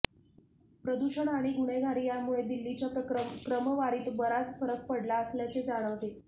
प्रदूषण आणि गुन्हेगारी यांमुळे दिल्लीच्या क्रमवारीत बराच फरक पडला असल्याचे जाणवते